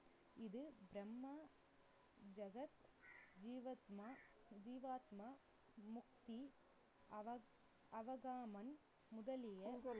இது பிரம்மா ஜகத் ஜீவாத்ம~ ஜீவாத்மா, முக்தி